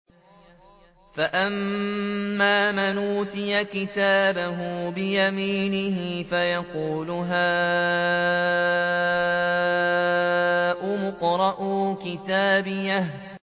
فَأَمَّا مَنْ أُوتِيَ كِتَابَهُ بِيَمِينِهِ فَيَقُولُ هَاؤُمُ اقْرَءُوا كِتَابِيَهْ